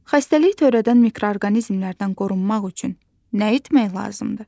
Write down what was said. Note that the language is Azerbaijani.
Xəstəlik törədən mikroorqanizmlərdən qorunmaq üçün nə etmək lazımdır?